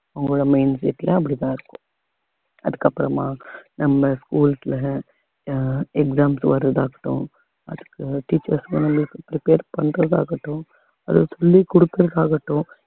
அவங்களோட mind set ல அப்படித்தான் இருக்கும் அதுக்கப்புறமா நம்ம schools ல அஹ் exams வர்றதாகட்டும் அதுக்கு teachers க்கும் அதுக்கு பேர் பண்றதாகட்டும் சொல்லிக் கொடுக்கிறது ஆகட்டும்